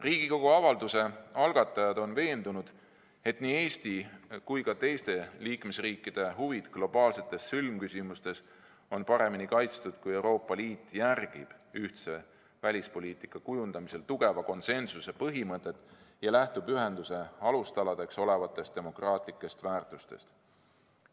Riigikogu avalduse algatajad on veendunud, et nii Eesti kui ka teiste liikmesriikide huvid globaalsetes sõlmküsimustes on paremini kaitstud, kui Euroopa Liit järgib ühtse välispoliitika kujundamisel tugeva konsensuse põhimõtet ja lähtub ühenduse alustaladeks olevatest demokraatlikest väärtustest.